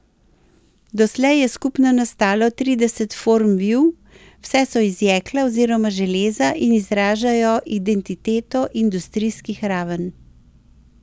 Doslej je skupno nastalo trideset form viv, vse so iz jekla oziroma železa in izražajo identiteto industrijskih Raven.